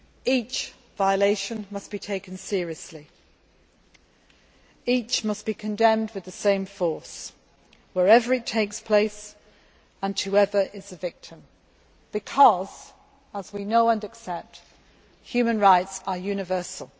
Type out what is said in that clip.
Each violation must be taken seriously and each must be condemned with equal force wherever it takes place and whoever the victim may be, because, as we know and accept, human rights are universal.